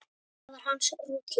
Það var hans rútína.